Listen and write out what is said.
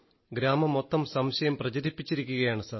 ഗ്രാമം മൊത്തം സംശയം പ്രചരിപ്പിച്ചിരിക്കുകയാണ് സർ